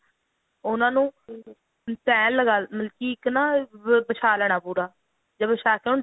ਉਹਨਾ ਨੂੰ ਤਿਹ ਲਗਾ ਦੀ ਮਤਲਬ ਕੀ ਇੱਕ ਨਾ ਵਛਾ ਲੈਣਾ ਪੂਰਾ ਜਾਂ ਵਛਾ ਕੇ ਉਹਨੂੰ